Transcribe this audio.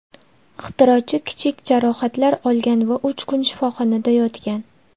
Ixtirochi kichik jarohatlar olgan va uch kun shifoxonada yotgan.